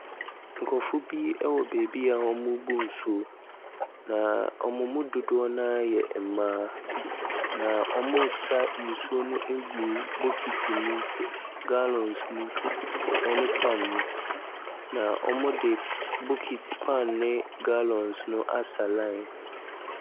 Nkrɔfo bi wɔ baabi a wɔrebu nsuo. Na wɔn mu dodoɔ no ara yɛ mmaa. Na wɔresa nsuo no agu bokiti mu. Gallons mu, ne pan mu. Na wɔde bokiti, pan ne gollons no asa line.